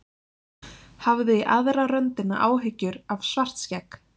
Hafði í aðra röndina áhyggjur af Svartskegg.